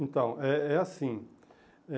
Então, é é assim.